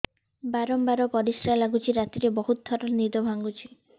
ବାରମ୍ବାର ପରିଶ୍ରା ଲାଗୁଚି ରାତିରେ ବହୁତ ଥର ନିଦ ଭାଙ୍ଗୁଛି